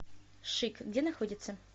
шик где находится